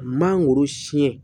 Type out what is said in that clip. Mangoro siɲɛ